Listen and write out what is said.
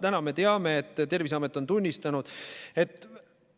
Täna me teame, et Terviseamet on tunnistanud, et